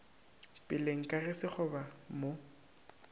peleng ka ge sekgoba mo